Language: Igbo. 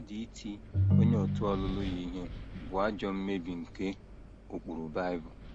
Mmadụ iti onye òtù ọlụlụ ya ihe bụ ajọ mmebi nke ụkpụrụ Bible.